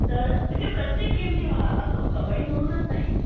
तर प्रत्येक गेमची असो म्हणजे कब्बडी म्हणूनच नाही